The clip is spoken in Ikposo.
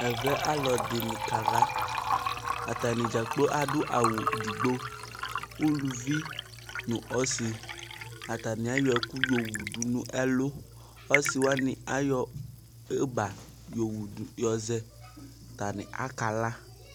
Ɛvɛ alu ɛdini kala atani dzagblo adu awu edigbo uluvi nu ɔsi atani ayɔ ɛku yɔwu du nu ɛlu ɔsi wani ayɔ yogba yɔzɛ atani akala